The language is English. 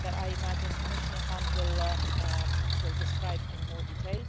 that I imagine Commissioner Hahn will describe in more detail.